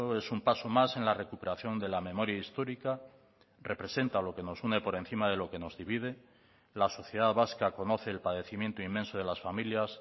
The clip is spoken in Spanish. es un paso más en la recuperación de la memoria histórica representa lo que nos une por encima de lo que nos divide la sociedad vasca conoce el padecimiento inmenso de las familias